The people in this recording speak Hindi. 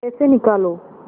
पैसे निकालो